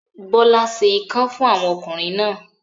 Bọ́lá se ikán fún àwọn ọkùnrin náà.